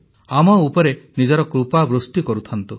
ଆମ ଉପରେ ନିଜର କୃପାବୃଷ୍ଟି କରୁଥାନ୍ତୁ